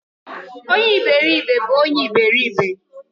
Onye eberibe wu onye eberibe